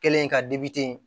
Kɛlen ka